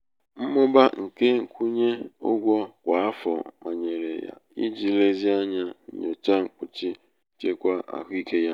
um mmụba nke nkwunye ụgwọ kwa afọ manyere ya iji lezie ányá nyochaa mkpuchi nchekwa ahụike ya.